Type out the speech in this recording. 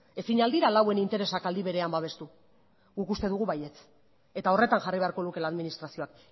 ezin al dira lauen interesak aldi berean babestu guk uste dugu baietz eta horretan jarri beharko lukeela administrazioak